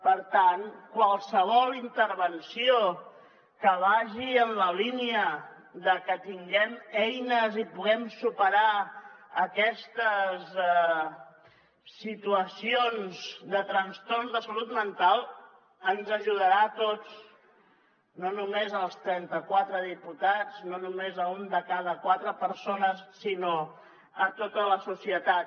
per tant qualsevol intervenció que vagi en la línia de que tinguem eines i puguem superar aquestes situacions de trastorns de salut mental ens ajudarà a tots no només als trenta quatre diputats no només a una de cada quatre persones sinó a tota la societat